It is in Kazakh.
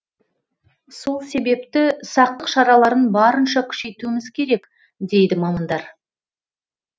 сол себепті сақтық шараларын барынша күшейтуіміз керек дейді мамандар